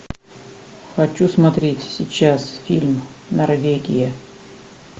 хочу смотреть сейчас фильм норвегия